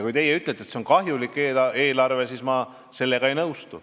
Kui teie ütlete, et see on kahjulik eelarve, siis ma sellega ei nõustu.